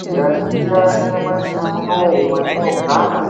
Tikaningira nyamashi unowu watinogara ,